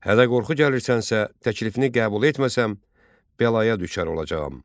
Hədə qorxu gəlirsənsə, təklifini qəbul etməsəm, bəlaya düçar olacağam.